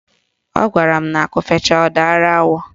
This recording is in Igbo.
Ọ gwara m na akụ fechaa, ọ dara awọ